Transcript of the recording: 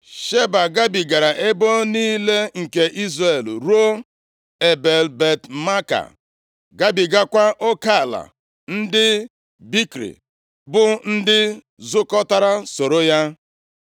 Sheba gabigara ebo niile nke Izrel ruo Ebel-Bet-Maaka, gabigakwa oke ala ndị Bikri, bụ ndị zukọtara soro ya.